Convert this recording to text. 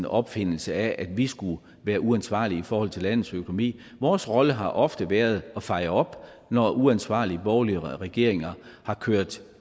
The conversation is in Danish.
opfindelse af at vi skulle være uansvarlige i forhold til landets økonomi vores rolle har ofte været at feje op når uansvarlige borgerlige regeringer har kørt